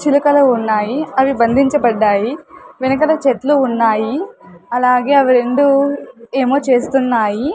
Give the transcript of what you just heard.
చిలకలు ఉన్నాయి అవి బంధించబడ్డాయి వెనకల చెట్లు ఉన్నాయి అలాగే అవి రెండు ఏమో చేస్తున్నాయి.